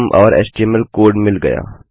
और HTML code मिल गया